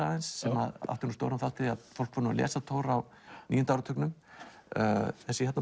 aðeins sem átti stóran þátt í að fólk fór að lesa Thor á níunda áratugnum þessi